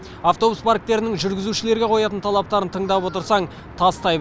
автобус парктерінің жүргізушілерге қоятын талаптары тыңдап отырсаң тастай